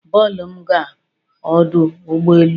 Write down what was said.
Bulu m gaa ọdụ ụgbọ elu